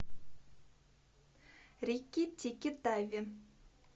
рикки тикки тави